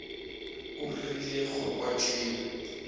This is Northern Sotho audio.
o rile go kwa tšeo